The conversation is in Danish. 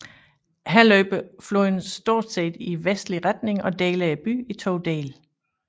Her løber floden stort set i vestlig retning og deler byen i to dele